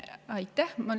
Aitäh!